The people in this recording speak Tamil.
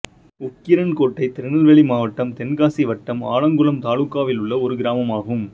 உக்கிரன்கோட்டை திருநெல்வேலி மாவட்டம் தென்காசி வட்டம் ஆலங்குளம் தாலுகாவிலுள்ள ஒரு கிராமமாகும்